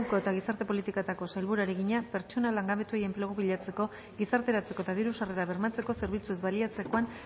enpleguko eta gizarte politiketako sailburuari egina pertsona langabetuei enplegua bilatzeko gizarteratzeko eta diru sarrerak bermatzeko zerbitzuez baliatzerakoan